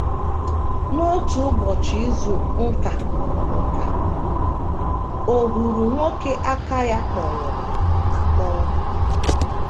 N’otu Ụbọchị Izu nka, nka, o huru nwoke aka ya kpọnwụrụ akpọnwụ.